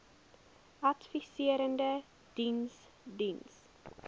adviserende diens diens